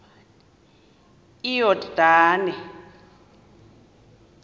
iyordane